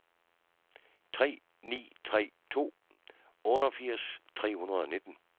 tre ni tre to otteogfirs tre hundrede og nitten